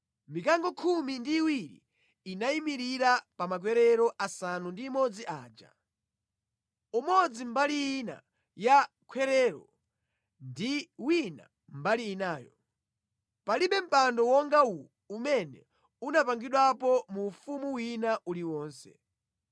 Mikango khumi ndi iwiri inayimirira pa makwerero asanu ndi imodzi aja. Umodzi mbali ina ya khwerero ndi wina mbali inayo. Palibe mpando wonga uwu umene unapangidwapo mu ufumu wina uliwonse.